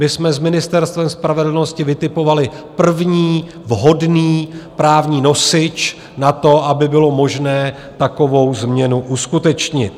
My jsme s Ministerstvem spravedlnosti vytipovali první vhodný právní nosič na to, aby bylo možné takovou změnu uskutečnit.